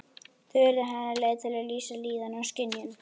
Þau urðu hennar leið til að lýsa líðan og skynjun.